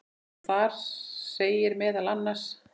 og þar segir meðal annars